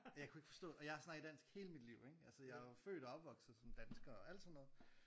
Og jeg kunne ikke forstå og jeg har snakket dansk hele mit liv ikke altså jeg er jo født og opvosket som dansker og alt sådan noget